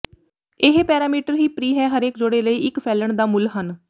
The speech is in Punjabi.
ਇਹ ਪੈਰਾਮੀਟਰ ਹੀ ਪ੍ਰੀ ਹੈ ਹਰੇਕ ਜੋੜੇ ਲਈ ਇੱਕ ਫੈਲਣ ਦਾ ਮੁੱਲ ਹਨ